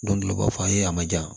Don dɔ la u b'a fɔ a ye a ma jan